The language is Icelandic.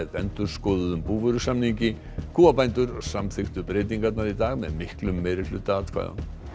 endurskoðuðum búvörusamningi kúabændur samþykktu breytingarnar í dag með miklum meirihluta atkvæða